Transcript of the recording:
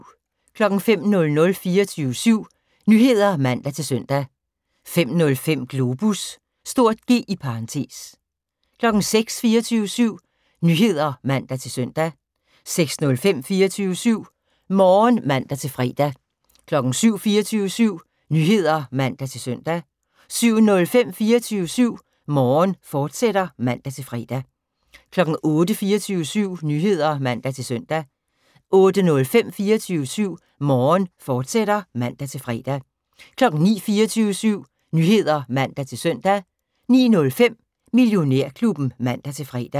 05:00: 24syv Nyheder (man-søn) 05:05: Globus (G) 06:00: 24syv Nyheder (man-søn) 06:05: 24syv Morgen (man-fre) 07:00: 24syv Nyheder (man-søn) 07:05: 24syv Morgen, fortsat (man-fre) 08:00: 24syv Nyheder (man-søn) 08:05: 24syv Morgen, fortsat (man-fre) 09:00: 24syv Nyheder (man-søn) 09:05: Millionærklubben (man-fre)